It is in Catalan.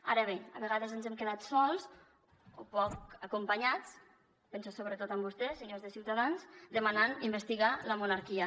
ara bé a vegades ens hem quedat sols o poc acompanyats penso sobretot en vostès senyors de ciutadans demanant investigar la monarquia